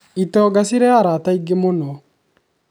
itonga cirĩ arata aingĩ mũno